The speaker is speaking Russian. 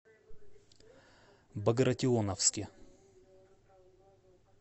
багратионовске